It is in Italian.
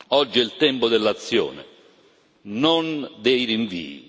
Oggi è il tempo dell'azione non dei rinvii